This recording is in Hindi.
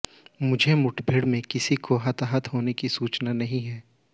इस मुठभेड़ में किसी के हताहत होने की सूचना नहीं है